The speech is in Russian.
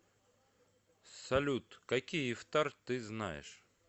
салют какие ифтар ты знаешь